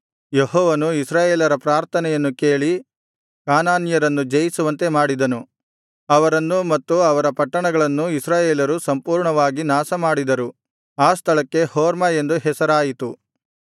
ಯೆಹೋವನು ಇಸ್ರಾಯೇಲರ ಪ್ರಾರ್ಥನೆಯನ್ನು ಕೇಳಿ ಕಾನಾನ್ಯರನ್ನು ಜಯಿಸುವಂತೆ ಮಾಡಿದನು ಅವರನ್ನು ಮತ್ತು ಅವರ ಪಟ್ಟಣಗಳನ್ನು ಇಸ್ರಾಯೇಲರು ಸಂಪೂರ್ಣವಾಗಿ ನಾಶಮಾಡಿದರು ಆ ಸ್ಥಳಕ್ಕೆ ಹೊರ್ಮಾ ಎಂದು ಹೆಸರಾಯಿತು